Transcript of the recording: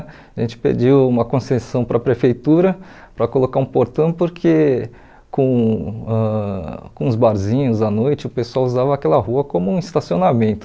A gente pediu uma concessão para a prefeitura para colocar um portão porque com ãh com os barzinhos à noite o pessoal usava aquela rua como um estacionamento.